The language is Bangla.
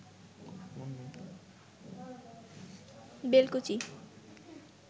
বেলকুচি